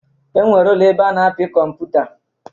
E nwere ụlọ ebe a na-apị kọmputa.